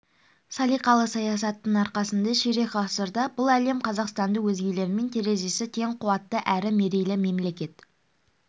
салиқалы саясатының арқасында ширек ғасырда бүкіл әлем қазақстанды өзгелермен терезесі тең қуатты әрі мерейлі мемлекет